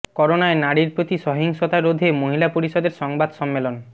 করোনায় নারীর প্রতি সহিংসতা রোধে মহিলা পরিষদের সংবাদ সম্মেলন